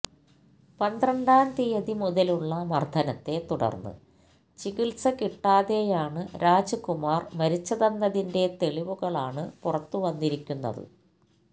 പന്ത്രണ്ടാം തിയതി മുതലുള്ള മര്ദ്ദനത്തെ തുടര്ന്ന് ചികിത്സ കിട്ടാതെയാണ് രാജ്കുമാര് മരിച്ചതെന്നതിന്റെ തെളിവുകളാണ് പുറത്തുവന്നിരിക്കുന്നത്